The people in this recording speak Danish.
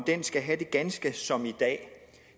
skal have det ganske som i dag